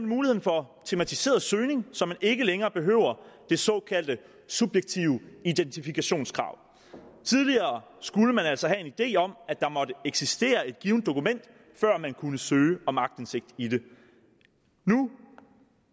muligheden for tematiseret søgning så man ikke længere behøver det såkaldte subjektive identifikationskrav tidligere skulle man altså have en idé om at der måtte eksistere et givent dokument før man kunne søge om aktindsigt i det nu